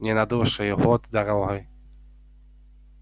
не на будущий год дорогой